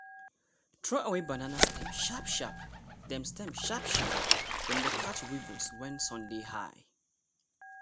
throw away banana stem sharp-sharp dem stem sharp-sharp dem dey catch weevils when sun dey high.